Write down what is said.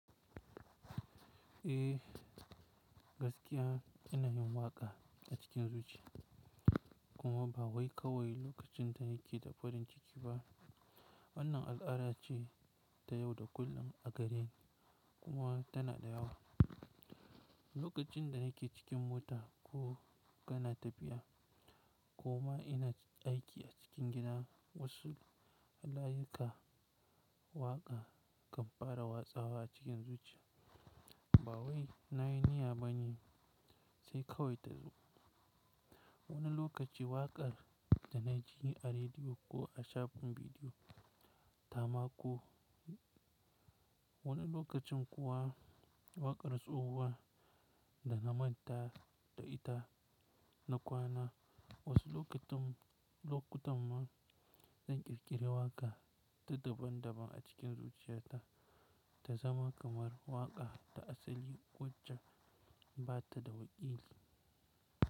Eh gaskiya ina yin waƙa a cikin zuciya kuma ba wai kawai lokacin da yake da farin ciki ba. Wannan al'ada ce ta yau da kullum a gareni kuma tana da yawa. Lokacin da nake cikin mota ko kana tafiya, kuma ina aiki a cikin gida. Wasu halayuka waƙa kan fara watsawa a cikin zuciya. Ba wai na yi niyya ba ne sai kawai ta zo. Wani lokaci waƙar da na ji a rediyo ko a shafin bidiyo, tamako. Wani lokacin kuwa waƙar tsohuwa da na manta da ita na kwana. Wasu lokutan ma zan ƙirƙiri waƙa ta daban-daban a cikin zuciyata ta zama kamar waƙa ta asali, ƙocha ba ta da wakili.